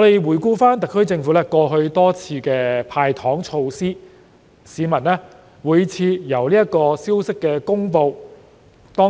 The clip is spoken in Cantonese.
回顧特區政府過去多次"派糖"，每次市民在消息公布